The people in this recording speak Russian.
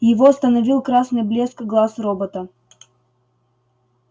его остановил красный блеск глаз робота